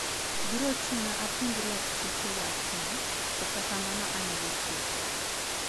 Biro chuna apenj lakteche wachno, kata kamano anyalo tiyo kode.